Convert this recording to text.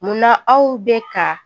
Munna aw bɛ ka